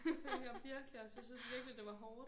Det følte jeg virkelig også jeg synes virkelig det var hårdt